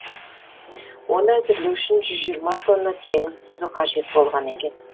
оны әзірлеу үшін жүз жиырма тонна теңіз тұзы қажет болған екен